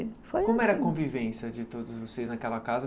Como era a convivência de todos vocês naquela casa?